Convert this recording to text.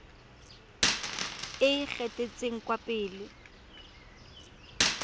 e e gatetseng kwa pele